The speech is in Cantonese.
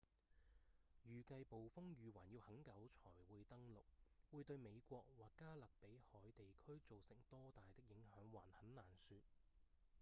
預計暴風雨還要很久才會登陸會對美國或加勒比海地區造成多大的影響還很難說